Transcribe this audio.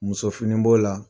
Muso fini b'o la.